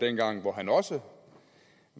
dengang han også